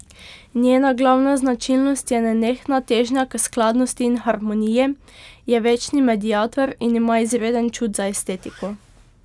Njena glavna značilnost je nenehna težnja k skladnosti in harmoniji, je večni mediator in ima izreden čut za estetiko.